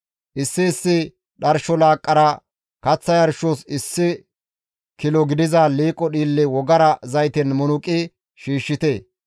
Issi issi dharsho laaqqara kaththa yarshos issi kilo gidiza liiqo dhiille wogara zayten munuqi shiishshite.